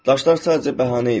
Daşlar sadəcə bəhanə idilər.